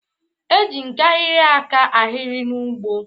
E je nkahịrị aka ahịrị n'ụgbọ.